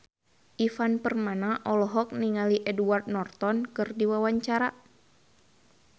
Ivan Permana olohok ningali Edward Norton keur diwawancara